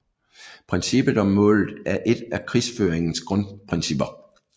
Princippet om målet er et af krigsføringens grundprincipper